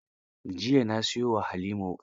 Jiya na siyo wa Halima wuƙa